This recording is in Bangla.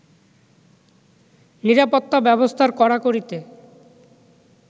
নিরাপত্তা ব্যবস্থার কড়াকড়িতে